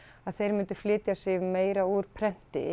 að þeir myndu flytja sig meira úr prenti